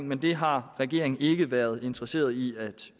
men det har regeringen ikke været interesseret i at